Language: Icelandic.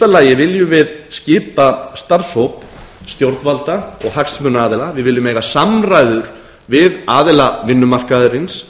þá viljum við í fyrsta lagi skipa starfshóp stjórnvalda og hagsmunaaðila við viljum eiga samræður við aðila vinnumarkaðarins